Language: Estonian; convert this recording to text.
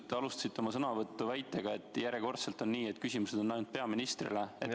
Te alustasite oma sõnavõttu väitega, et järjekordselt on nii, et küsimused on ainult peaministrile.